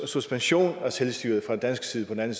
suspension af selvstyret fra dansk side på den